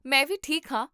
ਮੈਂ ਵੀ ਠੀਕ ਹਾਂ